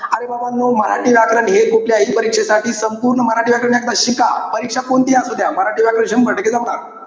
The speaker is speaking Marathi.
अरे बाबानो मराठी व्याकरण हे कुठल्याही परीक्षेसाठी, संपूर्ण मराठी व्याकरण एकदा शिका. परीक्षा कोणतीही असू द्या. मराठी व्याकरण शम्भर टक्के जमणार.